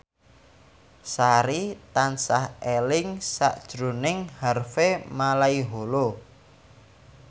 Sari tansah eling sakjroning Harvey Malaiholo